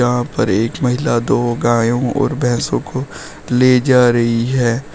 वहां पर एक महिला दो गायों और भैंसों को ले जा रही है।